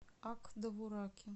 ак довураке